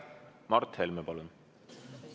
Mart Helme, palun!